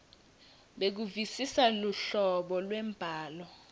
bekuvisisa luhlobo lwembhalo